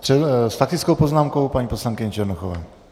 S faktickou poznámkou paní poslankyně Černochová.